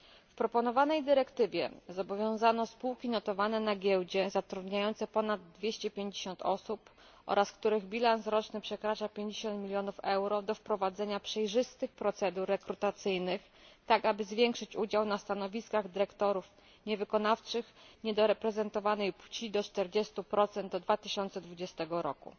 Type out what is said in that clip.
W proponowanej dyrektywie zobowiązano spółki notowane na giełdzie, zatrudniające ponad 250 osób oraz których bilans roczny przekracza 50 mln euro, do wprowadzenia przejrzystych procedur rekrutacyjnych, tak aby zwiększyć udział na stanowiskach dyrektorów niewykonawczych niedoreprezentowanej płci do 40 do 2020 roku.